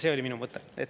See oli minu mõte.